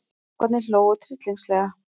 Strákarnir hlógu tryllingslega.